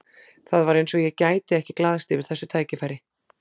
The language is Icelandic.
Það var eins og ég gæti ekki glaðst yfir þessu tækifæri.